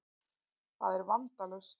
Það er vandalaust.